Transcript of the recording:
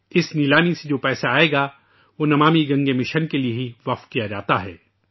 اس نیلامی سے جو رقم آئے گی وہ 'نمامی گنگے' مہم کے لیے وقف ہے